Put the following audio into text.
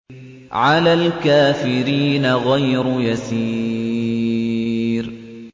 عَلَى الْكَافِرِينَ غَيْرُ يَسِيرٍ